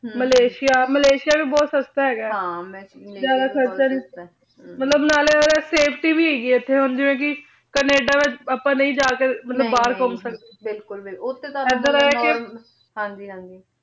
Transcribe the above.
Malaysia Malaysia ਵੀ ਬੋਹਤ ਸਸਤਾ ਹੇਗਾ ਆਯ ਜਿਆਦਾ ਖਰਚਾ ਨਾਈ ਮਤਲਬ ਨਾਲੀ ਓਦਾ safety ਵੀ ਹੇਗੀ ਏਥੇ ਨਾਲੀ ਓਥੋਂ ਦੀ ਕੈਨੇਡਾ ਵਿਚ ਆਪਾਂ ਨਾਈ ਜੇ ਕੇ ਮਤਲਬ ਬਹਿਰ ਘੁਮ ਸਕਦੇ ਬਿਲਕੁਲ ਬਿਲਕੁਲ ਇਧਰ ਆਯ ਕੇ ਹਾਂਜੀ ਹਾਂਜੀ